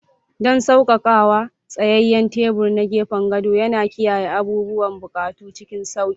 Don saukakawa, tsayayyen tebur na gefen gado yana kiyaye abubuwan buƙatu cikin sauƙi.